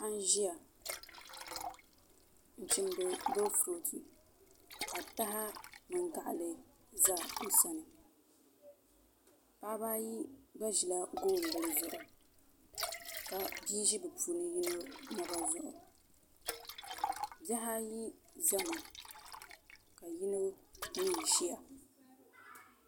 Paɣa n ʒiya n chimdi boofurooto ka taha mini gaɣali ʒɛ o sani paɣaba ayi gba ʒila goonbili zuɣu ka bia ʒi bi puuni yino naba zuɣu bihi ayi ʒɛmi ka yino mii ʒiya